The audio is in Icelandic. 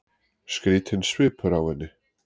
Skrýtinn svipur á henni.